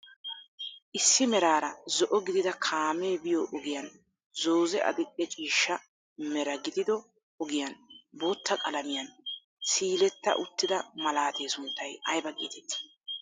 Issi meraara zo"o gidida kaamee biyo ogiyaan zoozee adil"e ciishsha meraa gidido ogiyaan bootta qalamiyaan siiletta uttida malaatee sunttay ayba getettii?